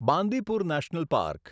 Bandipur national park